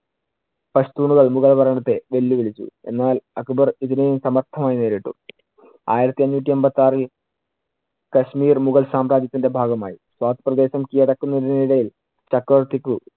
മുഗൾ ഭരണത്തെ വെല്ലുവിളിച്ചു. എന്നാൽ അക്ബർ ഇതിനെയും സമർഥമായി നേരിട്ടു. ആയിരത്തി അഞ്ഞൂറ്റി എൺപത്തിയാറിൽ കശ്മീർ മുഗൾ സാമ്രാജ്യത്തിന്‍റെ ഭാഗമായി. പ്രദേശം കിഴടക്കുന്നതിനിടയിൽ ചക്രവർത്തിക്കു